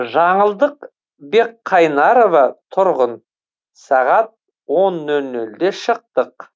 жаңылдық бекқарнайова тұрғын сағат он нөл нөлде шықтық